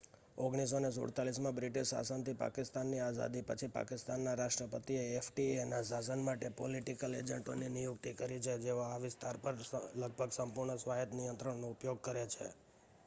"1947માં British શાસનથી પાકિસ્તાનની આઝાદી પછી પાકિસ્તાનના રાષ્ટ્રપતિએ એફ.ટી.એ.ના શાસન માટે "પોલિટિકલ એજન્ટો" ની નિયુક્તિ કરી છે જેઓ આ વિસ્તારો પર લગભગ સંપૂર્ણ સ્વાયત નિયંત્રણનો ઉપયોગ કરે છે.